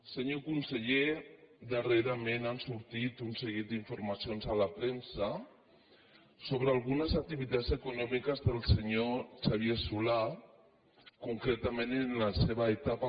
senyor conseller darrerament han sortit un seguit d’informacions a la premsa sobre algunes activitats econòmiques del senyor xavier solà concretament en la seva etapa